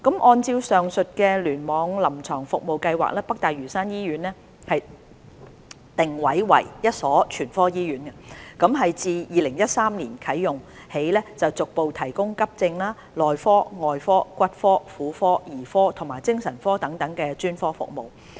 按照臨床服務計劃，北大嶼山醫院定位為一所全科醫院，自2013年啟用起逐步提供急症、內科、外科、骨科、婦科、兒科及精神科等專科服務。